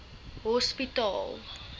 hospitaal